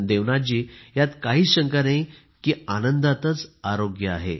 देवनाथजी यात काहीच शंका नाही की आनंदातच आरोग्य आहे